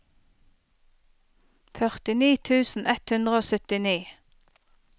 førtini tusen ett hundre og syttini